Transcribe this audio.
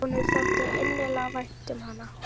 Honum þótti svo innilega vænt um hana.